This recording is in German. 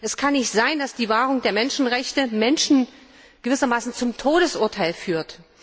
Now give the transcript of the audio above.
Es kann nicht sein, dass die Wahrung der Menschenrechte Menschen gewissermaßen zum Todesurteil führt.